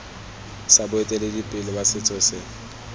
sa boeteledipele ba setso se